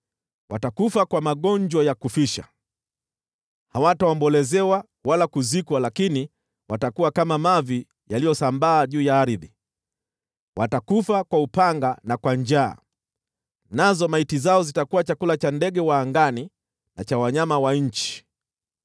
“Watakufa kwa magonjwa ya kufisha. Hawataombolezewa wala kuzikwa, lakini watakuwa kama mavi yaliyosambaa juu ya ardhi. Watakufa kwa upanga na kwa njaa, nazo maiti zao zitakuwa chakula cha ndege wa angani, na cha wanyama wa nchi.”